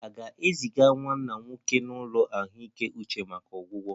A ga-eziga nwanna nwoke n'ụlọ ahụike uche maka ọgwụgwọ?